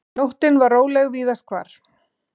Nóttin var róleg víðast hvar.